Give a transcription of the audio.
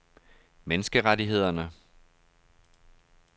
menneskerettighederne